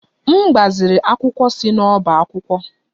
M gbaziri akwụkwọ si n'ọbá akwụkwọ.